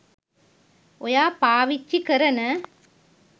ඔයා පාවිච්චි කරන